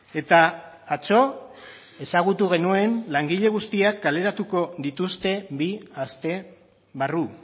eta atzo ezagutu genuen langile guztiak kaleratuko dituzte bi aste barru